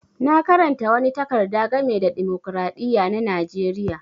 Na karanta wani takarda game da dimokiradiyya na Najeriya.